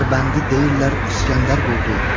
Dərbəndi deyirlər İsgəndər qurdu.